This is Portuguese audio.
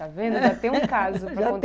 Já tem um caso.